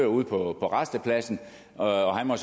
ude på rastepladsen og må